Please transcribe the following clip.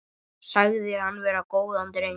Sagðir hann vera góðan dreng.